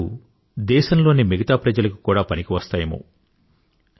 అతడి మాటలు దేశంలోని మిగతా ప్రజలకి కూడా పనికి వస్తాయేమో